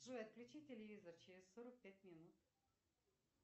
джой отключи телевизор через сорок пять минут